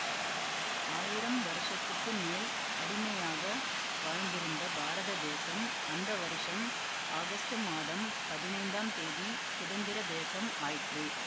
ஆயிரம் வருஷத்துக்கு மேல் அடிமையாக வாழ்ந்திருந்த பாரத தேசம் அந்த வருஷம் ஆகஸ்டு மாதம் பதினைந்தாம் தேதி சுதந்திர தேசம் ஆயிற்று